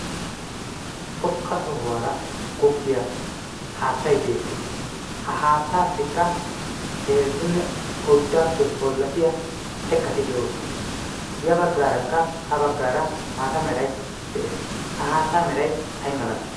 xoqqa sohuwaara goggiyaa haattay beettees. ha haattaassikka heezzunne oyddaappe bollatiya xekkati de'oosona ya baggaarakka ha baggaara maata meray de'ees. ha haattaa meray ay malay?